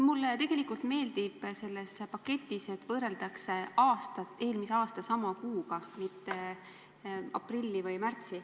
Mulle tegelikult meeldib selles paketis, et võrreldakse seisu eelmise aasta sama kuuga, mitte aprilli või märtsi.